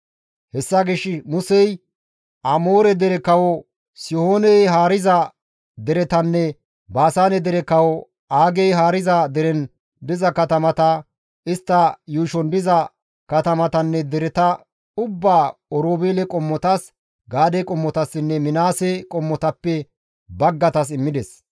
Hessa gishshas Musey Amoore dere kawo Sihooney haariza deretanne Baasaane dere kawo Aagey haariza deren diza katamata, istta yuushon diza katamatanne dereta ubbaa Oroobeele qommotas, Gaade qommotassinne Minaase qommotappe baggaytas immides.